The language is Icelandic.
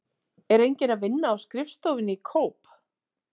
Er enginn að vinna á skrifstofunni í Kóp?